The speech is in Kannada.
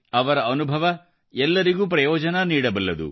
ಅವರ ಅನುಭವ ಎಲ್ಲರಿಗೂ ಪ್ರಯೋಜನ ನೀಡಬಲ್ಲದು